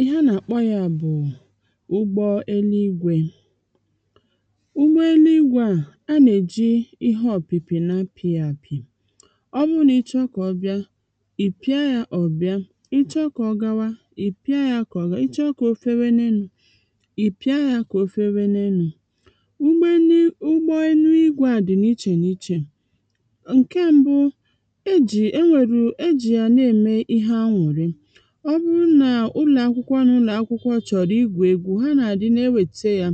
ihe anà-àkpọ yȧ bụ̀ ụgbọ eluigwė ụgbọ eluigwė à, a nà-èji ihe ọ̀pị̀pị̀ na-apị̇ yȧ àpị̀ ọ bụrụ nà ị chọọ kà ọbịa ị̀ pịa yȧ ọ̀bịa ị chọọ kà ọgawa ị̀ pịa yȧ kà ọgawa ị chọọ kà o fewe n’enu̇ ị̀ pịa yȧ kà o fewe n’enu̇ ụgbọ eluigwė à dị̀ n’ichè n’ichè ǹke mbụ̇ e jì e nwèrù e jì yà na-ème ihe anwụ̀rị ọ bụrụ nà ụlọ̀akwụkwọ nà ụlọ̀akwụkwọ chọ̀rọ̀ igwù egwu̇ ha nà-àdi n’ewètè ya